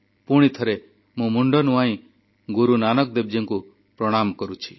ପୁଣିଥରେ ମୁଁ ମୁଣ୍ଡ ନୁଆଁଇ ଗୁରୁ ନାନକ ଦେବଜୀଙ୍କୁ ପ୍ରଣାମ କରୁଛି